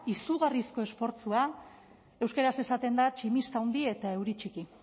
izugarrizko esfortzua euskaraz esaten da tximista handi eta euri txiki